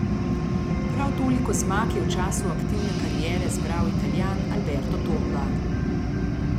Prav toliko zmag je v času aktivne kariere zbral Italijan Alberto Tomba.